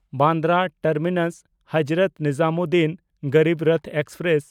Bandra ᱴᱟᱨᱢᱤᱱᱟᱥ–ᱦᱚᱡᱨᱚᱛ Nizamuddin Garib Rath express